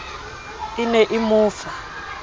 e ne e mo fa